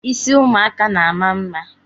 Ịsị ụmụaka na-ama mma